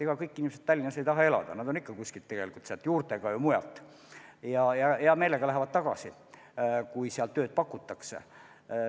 Ega kõik inimesed ei taha Tallinnas elada, osa näiteks on juurtega kuskil sealkandis ja hea meelega lähevad tagasi, kui seal tööd pakutakse.